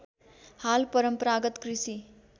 हाल परम्परागत कृषि